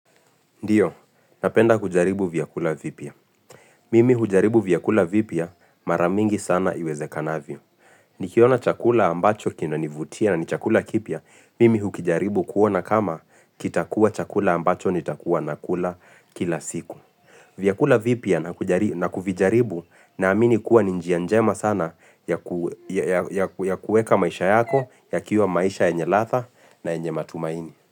Ndio, napenda kujaribu vyakula vipya. Mimi hujaribu vyakula vipya mara mingi sana iwezekanavyo. Nikiona chakula ambacho kina nivutia na ni chakula kipya, mimi hukijaribu kuona kama kitakua chakula ambacho nitakua nakula kila siku. Vyakula vipya na kujari na kuvijaribu naamini kuwa ni njia njema sana ya kueka maisha yako, ya kiwa maisha yenye ladha na yenye matumaini.